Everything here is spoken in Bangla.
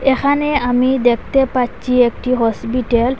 এখানে আমি দেকতে পাচ্চি একটি হসপিটেল ।